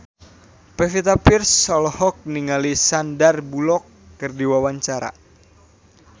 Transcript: Pevita Pearce olohok ningali Sandar Bullock keur diwawancara